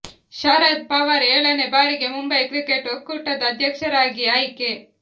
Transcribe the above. ಶರದ್ ಪವಾರ್ ಏಳನೇ ಬಾರಿಗೆ ಮುಂಬೈ ಕ್ರಿಕೆಟ್ ಒಕ್ಕೂಟದ ಅಧ್ಯಕ್ಷರಾಗಿ ಆಯ್ಕೆ